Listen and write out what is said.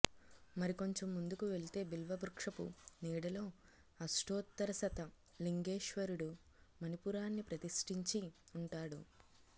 మరికొంచెం ముందుకు వెళితే బిల్వవృక్షపు నీడలో అష్టోత్తరశత లింగేశ్వరుడు మణిపూరాన్ని ప్రతిష్ఠించి ఉంటాడు